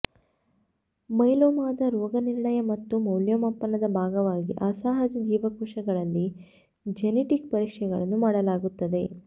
ಮೈಲೋಮಾದ ರೋಗನಿರ್ಣಯ ಮತ್ತು ಮೌಲ್ಯಮಾಪನದ ಭಾಗವಾಗಿ ಅಸಹಜ ಜೀವಕೋಶಗಳಲ್ಲಿ ಜೆನೆಟಿಕ್ ಪರೀಕ್ಷೆಗಳನ್ನು ಮಾಡಲಾಗುತ್ತದೆ